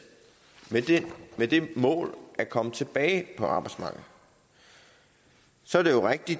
med det mål at komme tilbage på arbejdsmarkedet så er det jo rigtigt